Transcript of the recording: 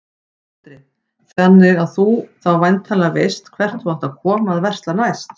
Andri: Þannig að þú þá væntanlega veist hvert þú átt að koma að versla næst?